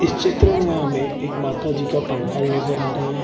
इस चित्र में हमें एक माताजी का पंडाल नजर आ रहा है।